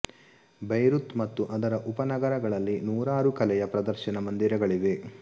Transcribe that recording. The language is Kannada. ಬೈರುತ್ ಮತ್ತು ಅದರ ಉಪನಗರಗಳಲ್ಲಿ ನೂರಾರು ಕಲೆಯ ಪ್ರದರ್ಶನ ಮಂದಿರಗಳಿವೆ